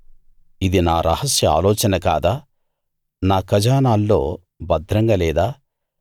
ఇది నా రహస్య ఆలోచన కాదా నా ఖజానాల్లో భద్రంగా లేదా